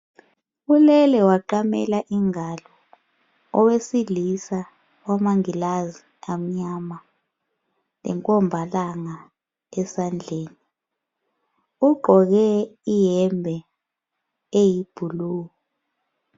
Ulele waqamela ingalo owesilisa olamangilazi amnyama lenkombalanga esandleni. Ugqoke iyembe eyi"blue".